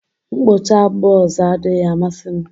mkpụcha buzz adịghị amasị m